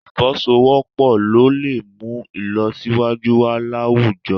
Ì̀fọwọ́sowọ́pọ̀ ló lè mú ìlọsíwájú wà láwùjọ